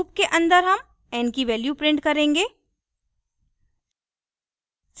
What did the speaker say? loop के अन्दर हम n की value print करेंगे